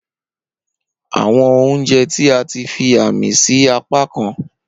Awọn ounjẹ ti a ti fi aami si apakan.